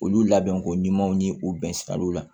Olu labɛnko ɲumanw ni o bɛn siraw la